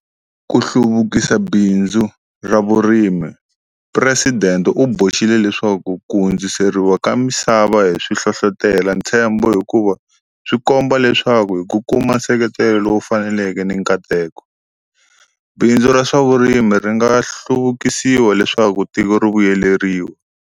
Ku hluvukisa bindzu ra vurimiPresidente u boxile leswaku ku hundziseriwa ka misava hi swi hlohlotela ntshembo hikuva swi komba leswaku hi ku kuma nseketelo lowu faneleke ni nkateko, bindzu ra swa vurimi ri nga hlu vukisiwa leswaku tiko ri vuyeleriwa.